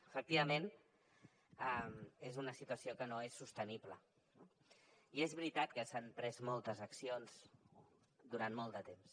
efectivament és una situació que no és sostenible no i és veritat que s’han pres moltes accions durant molt de temps